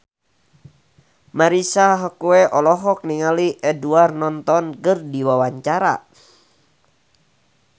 Marisa Haque olohok ningali Edward Norton keur diwawancara